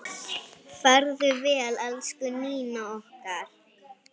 Farðu vel, elsku Nína okkar.